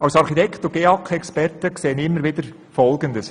Als Architekt und GEAK-Experte erlebe ich immer wieder folgendes: